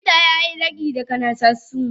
Likita yayi ragi ga nakasassu.